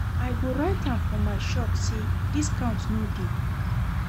I go write am for my shop sey discount no dey.